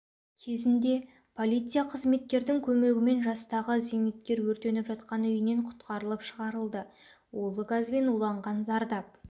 кезінде полиция қызметкердің көмегімен жастағы зейнеткер өртеніп жатқан үйінен құтқарылып шығарылды улы газбен уланған зардап